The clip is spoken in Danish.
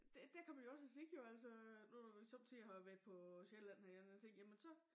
Det dér kan man jo også sige jo altså øh nu når vi sommetider har været på Sjælland havde jeg nær sagt jamen så